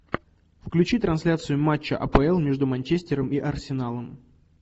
включи трансляцию матча апл между манчестером и арсеналом